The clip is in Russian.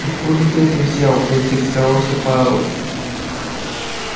откуда ты это взял поинтересовался пауэлл